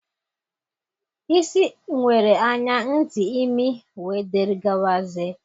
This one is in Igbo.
Isi nwere anya, ntị, imi, wdg.